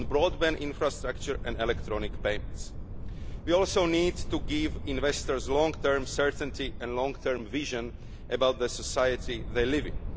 on broadband infrastructure and electronic payments. We also need to give investors long term certainty and long term vision about the society they live